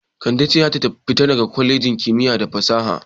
Kande ce za ta fita daga kwalejin kimiyya da fasaha.